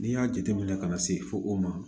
N'i y'a jateminɛ ka na se fo o ma